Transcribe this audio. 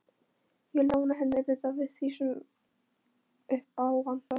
Ég lána henni auðvitað fyrir því sem upp á vantar.